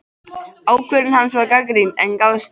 Ákvörðun hans var gagnrýnd, en gafst vel.